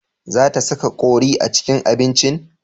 Za ta saka kori a cikin abincin?